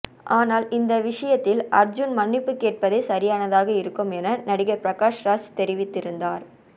ஆனால் இந்த விஷயத்தில் அர்ஜூன் மன்னிப்பு கேட்பதே சரியானதாக இருக்கும் என நடிகர் பிரகாஷ்ராஜ் தெரிவித்திருந்தார்